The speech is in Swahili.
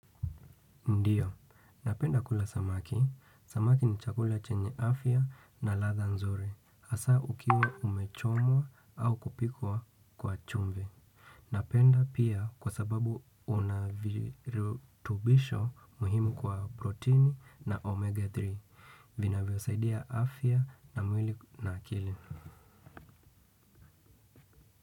Ndiyo, napenda kula samaki. Samaki ni chakula chenye afya na latha nzuri. Hasa ukiwa umechomwa au kupikwa kwa chumvi. Napenda pia kwa sababu unavirutubisho muhimu kwa protini na omega tatu. Vinavyo saidia afya na mwili na akili.